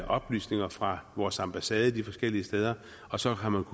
oplysninger fra vores ambassade de forskellige steder og så har man